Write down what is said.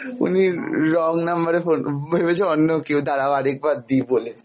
উনি wrong number এ phone, ভেবেছে অন্য কেউ, দাড়াও আর একবার দি বলে।